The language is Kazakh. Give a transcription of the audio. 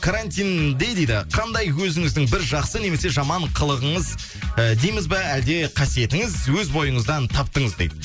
карантинде дейді қандай өзіңіздің бір жақсы немесе жаман қылығыңыз і дейміз ба әлде қасиетіңіз өз бойыңыздан таптыңыз дейді